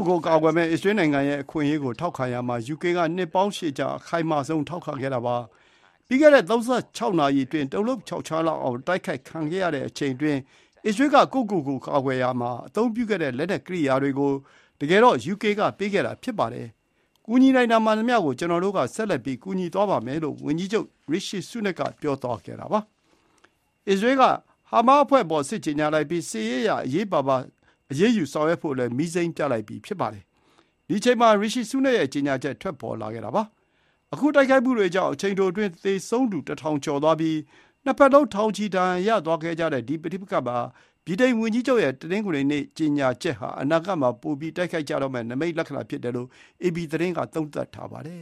ုယ်ကိုယ် ကာကွယ်မယ့် အစ္စရေးနိုင်ငံရဲ့ အခွင့်အရေးကို ထောက်ခံရာမှာ ယူကေက နှစ်ပေါင်းရှည်ကြာ အခိုင်မာဆုံး ထောက်ခံခဲ့တာပါ။ ပြီးခဲ့တဲ့ ၃၆ နာရီအတွင်း တုန်လှုပ်ခြောက်ခြားလောက်အောင် အတိုက်ခိုက်ခံခဲ့ရတဲ့အချိန်အတွင်း အစ္စရေးက ကိုယ့်ကိုယ့်ကိုယ် ကာကွယ်ရာမှာအသုံးပြုခဲ့တဲ့ လက်နက် ကိရိယာတွေ ကို တကယ်တော့ ယူကေက ပေးခဲ့တာဖြစ်ပါတယ်။ ကူညီနိုင်တာမှန်သမျှ ကျနော်တို့ က ဆက်လက်ကူညီသွားပါမယ်။” လို့ ဝန်ကြီးချုပ် ရီရှီဆူးနက်က ပြောလိုက်ပါတယ်။ အစ္စရေးက ဟားမတ်စ်အဖွဲ့အပေါ် စစ်ကြေညာလိုက်ပြီး စစ်ရေးအရ အရေးပါပါ အရေးယူဆောင်ရွက်ဖို့လည်း မီးစိမ်းပြလိုက်ပြီ ဖြစ်ပါတယ်။ ဒီအချိန်မှာ ဗြိတိန်ဝန်ကြီးချုပ်ရီရှီဆူးနက်ရဲ့ကြေညာချက် ထွက်ပေါ်လာခဲ့တာဖြစ်ပါတယ်။ ခုတိုက်ခိုက်မှုတွေကြောင့် အချိန်တိုအတွင်း သေဆုံးသူ ၁,၀၀၀ ကျော်သွားပြီး နှစ်ဘက်လုံး ထောင်ချီ ဒဏ်ရာရသွားခဲ့တဲ့ ဒီပဋိပက္ခမှာ ဗြိတိန်ဝန်ကြီးချုပ်ရဲ့ တနင်္ဂနွေနေ့က ကြေညာချက်ဟာ အနာဂတ်မှာ ပိုပြီး တိုက်ခိုက်ကြတော့မယ့် နိမိတ်လက္ခဏာဖြစ်တယ်လို့ အေပီသတင်းက သုံးသပ်ထားပါတယ